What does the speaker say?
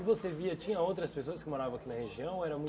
E você via, tinha outras pessoas que moravam aqui na região? Ou era